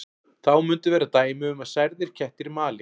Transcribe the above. Þá munu vera dæmi um að særðir kettir mali.